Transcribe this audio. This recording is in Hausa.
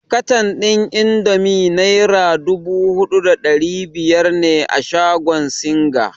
Katan ɗin indomi naira dubu huɗu da ɗari biyar ne a shagon singa.